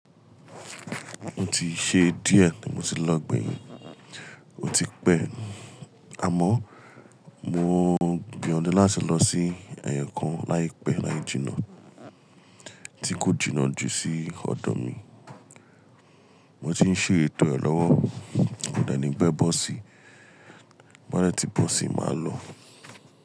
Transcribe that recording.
O ti ṣe díẹ̀ tí mo ti lọ gbeyin, o ti pẹ́. Àmọ́ mo gbìyànjú láti lọ sí ẹ̀kan láìpẹ́ láìjìnnà, tí kò jìnnà jù sí ọ̀dọ̀ mi. Mo ti ń ṣe ito ẹ lọ́wọ́, kò dẹ̀ ní pẹ́ bọ́ọ̀sì, b'ó bá dẹ̀ ti bọ́ọ̀sì, máa lọ.